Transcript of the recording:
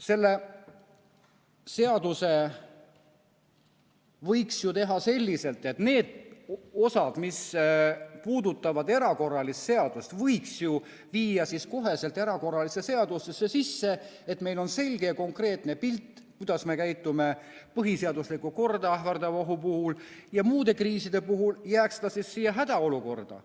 Selle seaduse võiks ju teha selliselt, et need osad, mis puudutavad erakorralise seadust, võiks viia kohe erakorralise seadusesse sisse, et meil on selge ja konkreetne pilt, kuidas me käitume põhiseaduslikku korda ähvardava ohu puhul, ja muude kriiside puhul jääks ta siis hädaolukorda.